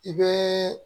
I bɛ